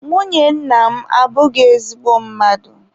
Nwunye nna m abụghị ezigbo mmadụ.